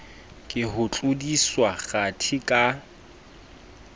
ke ho tlodiswa kgathi ka